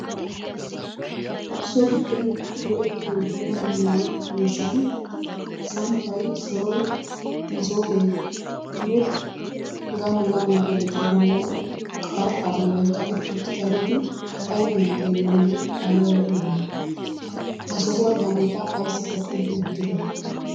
So giddon go'ettiyo dumma dumma miishshati samppay, soroy, masooppenne hegaanne hegaa malatiyageeti bollan qarxxaa bollan kaqqetti uttidaageeti ayfiyan xeelanawu ayba lo'iyona? Ha sohuwan hageeta ayssi kaqqidi wottiddo?